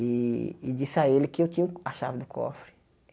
E e disse a ele que eu tinha a chave do cofre.